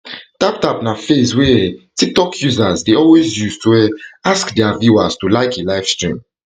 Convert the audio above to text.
tap tap na phrase wey um tiktok users dey always use to um ask dia viewers to like a livestream